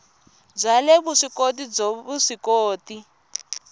bya le vuswikoti byo vuswikoti